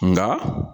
Nka